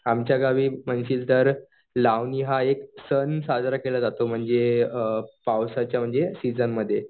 आमच्या गावी म्हणशील तर लावणी हा एक सण साजरा केला जातो म्हणजे अ पावसाच्या म्हणजे सिजनमध्ये.